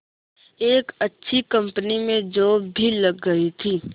एक अच्छी कंपनी में जॉब भी लग गई थी